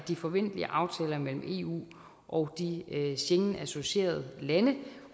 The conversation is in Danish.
de forventelige aftaler mellem eu og de schengenassocierede lande